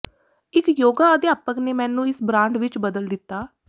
ਇੱਕ ਯੋਗਾ ਅਧਿਆਪਕ ਨੇ ਮੈਨੂੰ ਇਸ ਬ੍ਰਾਂਡ ਵਿੱਚ ਬਦਲ ਦਿੱਤਾ